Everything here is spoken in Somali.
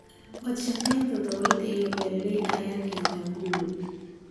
Wadashaqeynta dowladda iyo beeraleyda ayaa keenta guul.